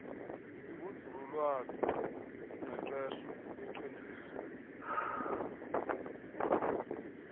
yobunzululwazi ingqeqesho uqheliso